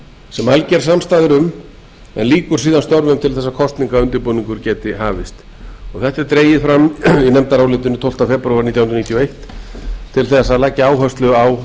sem alger samstaða er um en lýkur síðan störfum til þess að kosningaundirbúningur geti hafist þetta er dregið fram í nefndarálitinu tólfta febrúar nítján hundruð níutíu og eitt til að leggja áherslu á